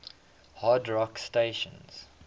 hard rock stations